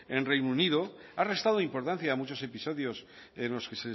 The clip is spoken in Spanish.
en el reino unido ha restado importancia a muchos episodios que